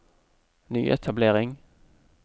nyetablering